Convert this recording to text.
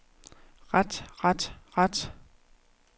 ret ret ret